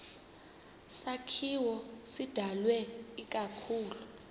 sakhiwo sidalwe ikakhulu